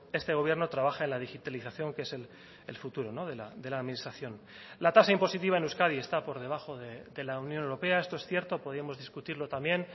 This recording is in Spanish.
este gobierno trabaja en la digitalización que es el futuro de la administración la tasa impositiva en euskadi está por debajo de la unión europea esto es cierto podíamos discutirlo también